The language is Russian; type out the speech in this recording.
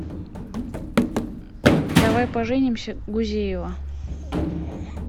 давай поженимся гузеева